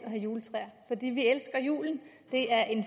have juletræer fordi vi elsker julen det er en